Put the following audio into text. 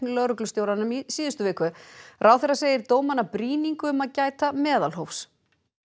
lögreglustjóranum í síðustu viku ráðherra segir dómana brýningu um að gæta meðalhófs